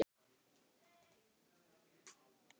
Hverjir úr heimi fótboltans eiga afmæli í dag?